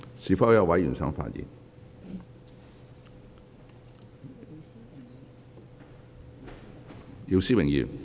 是否有委員想發言？